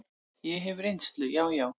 Ég hef reynslu, já, já.